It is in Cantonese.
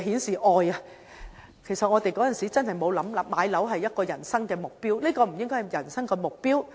事實上，我們當年真沒想過買樓是人生目標，這不應該是人生目標。